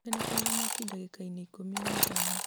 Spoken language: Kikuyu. ndirikania kũrora mwaki ndagĩka-inĩ ikũmi na ithano